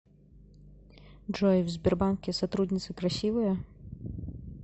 джой в сбербанке сотрудницы красивые